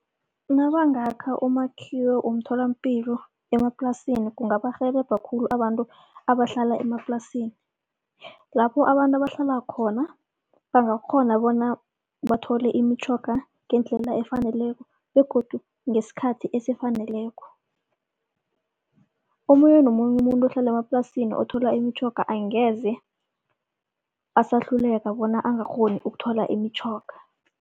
Nabangakha umakhiwo womtholapilo emaplasini kungabarhelebha khulu abantu abahlala emaplasini. Lapho abantu abahlala khona bangakghona bona bathole imitjhoga ngendlela efaneleko begodu ngesikhathi esifaneleko. Omunye nomunye umuntu ohlala emaplasini othola imitjhoga angeze asahluleka bona angakghoni ukuthola imitjhoga.